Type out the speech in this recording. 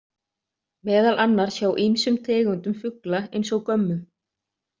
Meðal annars hjá ýmsum tegundum fugla eins og gömmum.